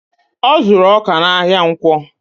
Ọ zuru ọkà n'ahia ǹkwọ